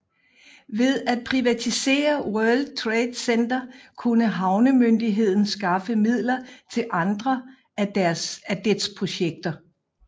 Ved at privatisere World Trade Center kunne havnemyndigheden skaffe midler til andre af dets projekter